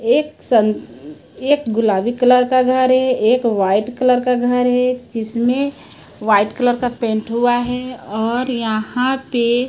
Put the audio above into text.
एक सन एक गुलाबी कलर का घर है। एक व्हाइट कलर का घर है। जिसमें व्हाईट कलर का पेंट हुआ है और यहाँ पे --